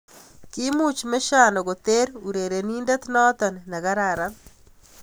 Kimuch Mesiano koter irerenindet noto nekararan.